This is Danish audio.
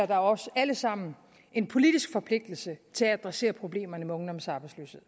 der os alle sammen en politisk forpligtelse til at adressere problemerne med ungdomsarbejdsløshed